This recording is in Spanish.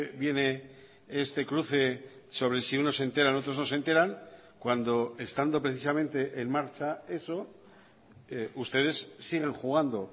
viene este cruce sobre si unos se enteran otros no se enteran cuando estando precisamente en marcha eso ustedes siguen jugando